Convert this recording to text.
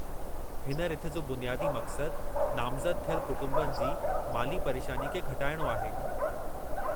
हिन रिथ जो बुनियादी मक़्सदु नामज़द थियल कुटुंबनि जी माली परेशानीअ खे घटाइणो आहे।